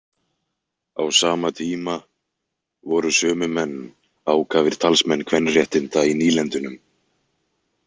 Á sama tíma voru sömu menn ákafir talsmenn kvenréttinda í nýlendunum.